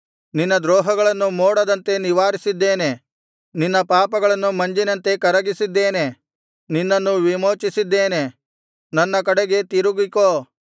ನಿನ್ನ ದ್ರೋಹಗಳನ್ನು ಮೋಡದಂತೆ ನಿವಾರಿಸಿದ್ದೇನೆ ನಿನ್ನ ಪಾಪಗಳನ್ನು ಮಂಜಿನಂತೆ ಕರಗಿಸಿದ್ದೇನೆ ನಿನ್ನನ್ನು ವಿಮೋಚಿಸಿದ್ದೇನೆ ನನ್ನ ಕಡೆಗೆ ತಿರುಗಿಕೋ